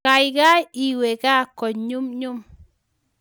kaikai iwe kaa konyumnyum